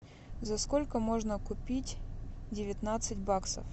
за сколько можно купить девятнадцать баксов